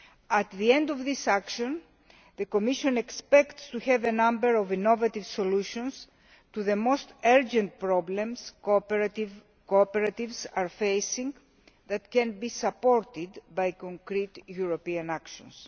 At the end of this action the Commission expects to have a number of innovative solutions to the most urgent problems faced by cooperatives, which can be supported by concrete European actions.